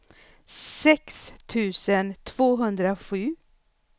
sex tusen tvåhundrasju